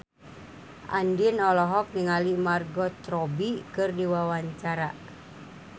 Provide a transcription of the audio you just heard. Andien olohok ningali Margot Robbie keur diwawancara